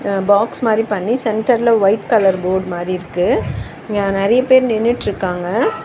அ box மாரி பண்ணி சென்டர்ல ஒயிட் கலர் போர்ட் மாரி இருக்கு இங்க நெறைய பேர் நின்னுட்ருக்காங்க.